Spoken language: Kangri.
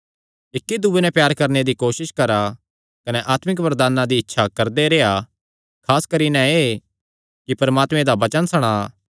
इक्की दूये नैं प्यार करणे दी कोसस करा कने आत्मिक वरदानां दी इच्छा करदे रेह्आ खास करी नैं एह़ कि परमात्मे दा वचन सणा